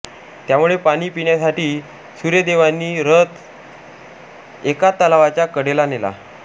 त्यामुळे पाणी पिण्यासाठी सूर्यदेवांनी रथ एका तलावाच्या कडेला नेला